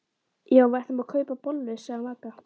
Já en við ætlum að kaupa bollur sagði Magga.